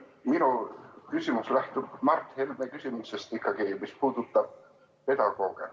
Minu küsimus lähtub Mart Helme küsimusest, mis puudutab pedagooge.